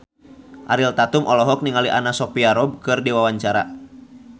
Ariel Tatum olohok ningali Anna Sophia Robb keur diwawancara